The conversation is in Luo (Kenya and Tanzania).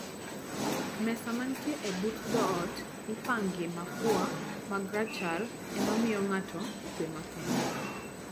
Mesa manitie e but dhoot ipangie mafua mag rachar ema miyo ng'ato kue makende